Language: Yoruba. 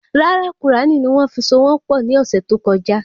Rárá Qùránì ni wón fi so wọn pọ ni ọsẹ tó kọjá